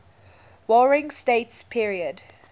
warring states period